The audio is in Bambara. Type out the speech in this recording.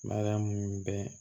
Mariyamu bɛɛ